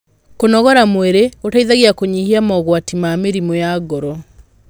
kũnogora mwĩrĩ gũteithagia kunyihia mogwati ma mĩrimũ ya ngoro